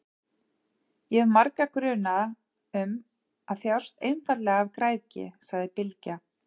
Ég hef marga grunaða um að þjást einfaldlega af græðgi, sagði Bylgja.